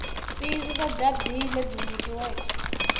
tiyisisa bya bee lebyi nyikiweke